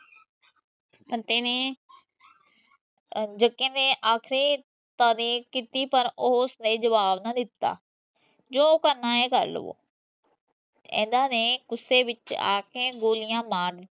ਬਤੇ ਨੇ ਜਗੇ ਦੇ ਦੀ ਤਾਰੀਫ ਕੀਤੀ ਪਰ ਉਸਨੇ ਜਵਾਬ ਨਾ ਦਿਤਾ ਜੋ ਕਰਨਾ ਹੈ ਕਰ ਲਵੋ ਇਹਨਾਂ ਨੇ ਗੁੱਸੇ ਵਿਚ ਆਕੇ ਗੋਲੀਆਂ ਮਾਰਨੀਆਂ